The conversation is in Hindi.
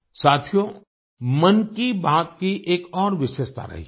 साथियो मन की बात के एक और विशेषता रही है